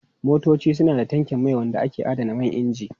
Motoci suna da tankin mai wanda ke adana man inji.